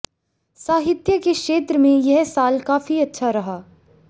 साहित्य के क्षेत्र में यह साल काफी अच्छा रहा